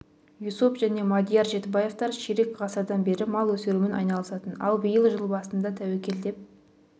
юсуп және мадияр жетібаевтар ширек ғасырдан бері мал өсірумен айналысатын ал биыл жыл басында тәуекел деп